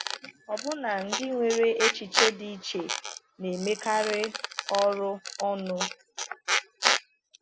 Ọbụna ndị nwere echiche dị iche na-emekarị ọrụ ọnụ.